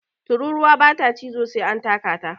Tururuwa ba ta cizo sai an taka ta